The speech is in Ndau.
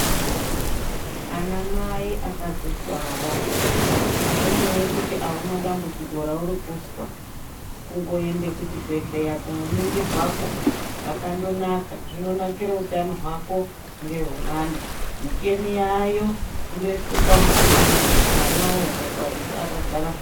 Anamai akadzitwara azvinei kuti auna dambudziko rauri kuzwa kungoenda kuchibhedhlera kundoningirwakwo kwakandonaka zvinonakira utano hwako nehwemwana. Michini yaayo, kundoiswa pamuchini mwana woonekwa kuti akagara zvakanaka ere.